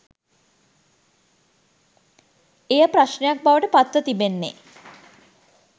එය ප්‍රශ්නයක් බවට පත්ව තිබෙන්නේ